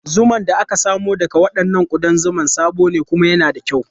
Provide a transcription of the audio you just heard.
Zuman da aka samo daga waɗannan ƙudan zuma sabo ne kuma yana da kyau.